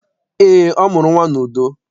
Eé, ọ mụrụ nnwa n'udo.